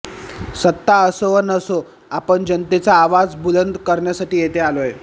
सत्ता असो वा नसो आपण जनतेचा आवाज बुलंद करण्यासाठी येथे आलो आहे